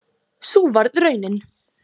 Sú varð raunin